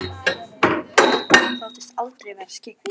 Alda þóttist aldrei vera skyggn.